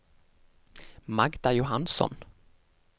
Magda Johansson